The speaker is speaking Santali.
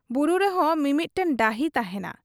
ᱵᱩᱨᱩ ᱨᱮᱦᱚᱸ ᱢᱤᱢᱤᱫᱴᱟᱹᱝ ᱰᱟᱹᱦᱤ ᱛᱟᱦᱮᱸᱱᱟ ᱾